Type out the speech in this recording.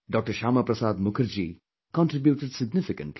Shyama Prasad Mukherjee contributed significantly